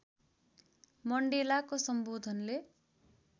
मण्डेलाको सम्बोधनले